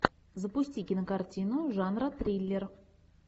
запусти кинокартину жанра триллер